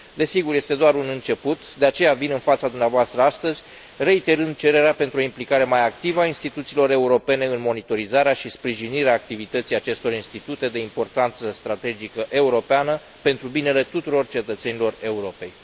Desigur, este doar un început, de aceea vin în fața dumneavoastră astăzi, reiterând cererea pentru o implicare mai activă a instituțiilor europene în monitorizarea și sprijinirea activității acestor institute de importanță strategică europeană, pentru binele tuturor cetățenilor Europei.